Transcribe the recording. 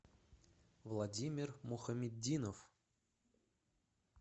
владимир мухаметдинов